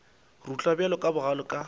rutla ka bogale bjalo ka